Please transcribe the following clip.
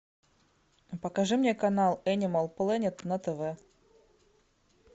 покажи мне канал энимал плэнет на тв